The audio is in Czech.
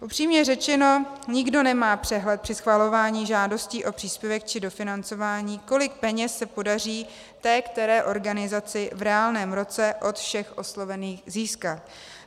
Upřímně řečeno, nikdo nemá přehled při schvalování žádostí o příspěvek či dofinancování, kolik peněz se podaří té které organizaci v reálném roce od všech oslovených získat.